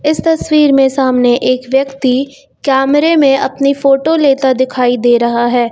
इस तस्वीर में सामने एक व्यक्ति कैमरे में अपनी फोटो लेता दिखाई दे रहा है।